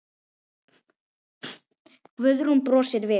Guðrún brosir við.